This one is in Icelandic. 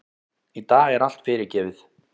Í dag er allt fyrirgefið.